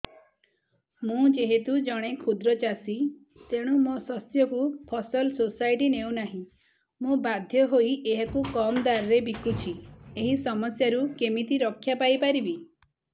ମୁଁ ଯେହେତୁ ଜଣେ କ୍ଷୁଦ୍ର ଚାଷୀ ତେଣୁ ମୋ ଶସ୍ୟକୁ ଫସଲ ସୋସାଇଟି ନେଉ ନାହିଁ ମୁ ବାଧ୍ୟ ହୋଇ ଏହାକୁ କମ୍ ଦାମ୍ ରେ ବିକୁଛି ଏହି ସମସ୍ୟାରୁ କେମିତି ରକ୍ଷାପାଇ ପାରିବି